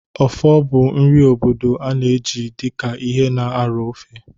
Okpor bụ nri obodo a na-eji dị ka ihe na-aro ofe.